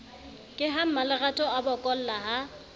ke ha mmalerato abokolla ha